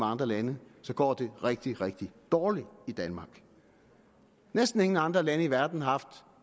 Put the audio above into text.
andre lande går det rigtig rigtig dårligt i danmark næsten ingen andre lande i verden har haft